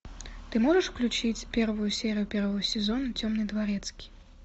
ты можешь включить первую серию первого сезона темный дворецкий